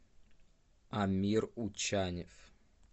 амир учанев